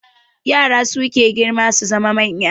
Yara suke girma su zama manya